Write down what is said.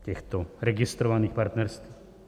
Těchto registrovaných partnerství.